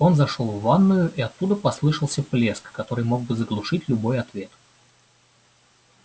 он зашёл в ванную и оттуда послышался плеск который мог бы заглушить любой ответ